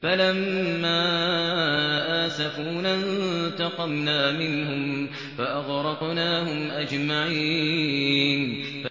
فَلَمَّا آسَفُونَا انتَقَمْنَا مِنْهُمْ فَأَغْرَقْنَاهُمْ أَجْمَعِينَ